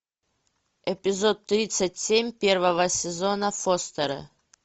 эпизод тридцать семь первого сезона фостеры